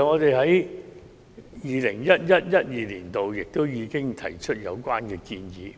我們在 2011-2012 年度已經提出有關建議，